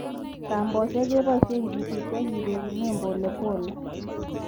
Kambosiek keboisie kechuti ak kereguni polepole.